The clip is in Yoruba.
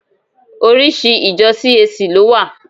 Oríṣi ìjọ CAC ló wà.